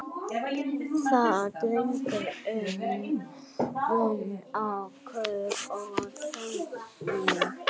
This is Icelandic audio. Það dregur úr mun á kaup- og söluverði.